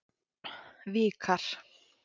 Vikar